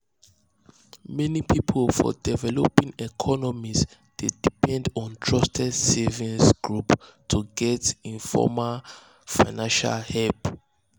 many people for developing economies dey depend on um trusted savings um groups to get informal financial help